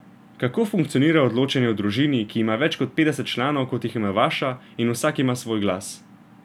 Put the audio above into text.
Kako funkcionira odločanje v družini, ki ima več kot petdeset članov, kot jih ima vaša, in vsak ima svoj glas ...